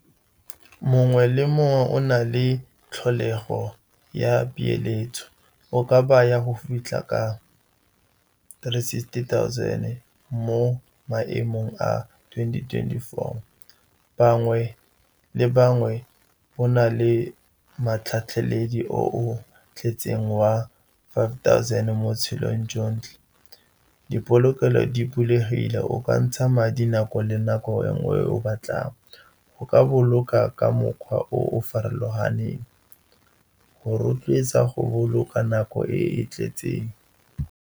Mongwe le mongwe o na le tlholego ya peeletso o ka baya go fitlha ka three sixty thousand mo maemong a twenty twenty-four. Bangwe le bangwe bo na le matlhaledi o o tletseng wa five thousand mo botshelong jotlhe. Dipolokelo di bulegile, o ka ntsha madi nako le nako enngwe o batlang. Go ka boloka ka mokgwa o o farologaneng go rotloetsa go boloka nako e e tletseng.